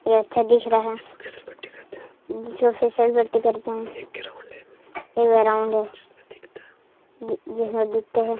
ये अच्छा दिख रहा है जिसे फीसलपट्टी करते है एक ग्राउंड है जिसमे दिखते है।